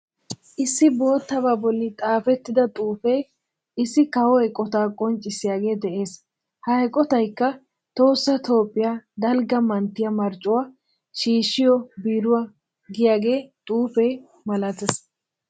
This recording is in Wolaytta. Issi boottabaa bolli xaafettida xuufee issi kawo eqootaa qonccissiyagee de'ees. Ha eqotayikka tohossa Toophphiya daligga manttiyan marccuwa shiishiyo beeruwa giyagaa xuufee malatees.